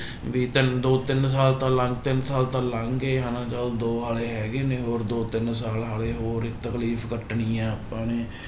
ਵੀ ਚੱਲ ਦੋ ਤਿੰਨ ਸਾਲ ਤਾਂ ਲੰਘ, ਤਿੰਨ ਸਾਲ ਤਾਂ ਲੰਘ ਗਏ ਹਨਾ ਚਲੋ ਦੋ ਹਾਲੇ ਹੈਗੇ ਨੇ ਹੋਰ ਦੋ ਤਿੰਨ ਸਾਲ ਹਾਲੇ ਹੋਰ ਤਕਲੀਫ਼ ਕੱਟਣੀ ਹੈ ਆਪਾਂ ਨੇ।